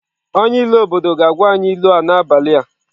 Onye ilu obodo ga-agwa anyị ilu a n'abalị a.